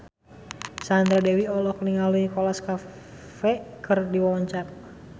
Sandra Dewi olohok ningali Nicholas Cafe keur diwawancara